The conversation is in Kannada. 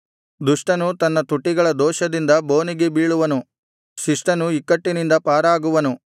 ದುಷ್ಟನು ತನ್ನ ತುಟಿಗಳ ದೋಷದಿಂದ ಬೋನಿಗೆ ಬೀಳುವನು ಶಿಷ್ಟನು ಇಕ್ಕಟ್ಟಿನಿಂದ ಪಾರಾಗುವನು